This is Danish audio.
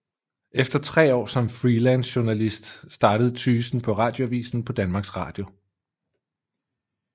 Efter tre år som freelancejournalist startede Tygesen på Radioavisen på Danmarks Radio